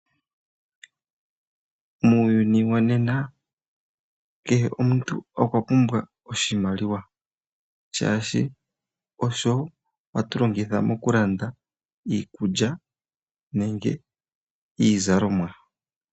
Muuyuni wonena kehe omuntu okwa pumbwa oshimaliwa shaashi osho hatu longitha mokulanda iikulya nenge iizalomwa.